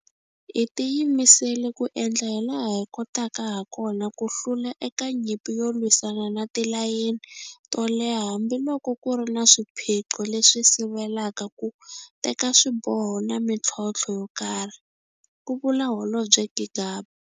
Hi tiyimisele ku endla hilaha hi kotaka hakona ku hlula eka nyimpi yo lwisana na tilayini to leha hambiloko ku ri na swiphiqo leswi sivelaka ku teka swiboho na mitlhontlho yokarhi, ku vula Holobye Gigaba.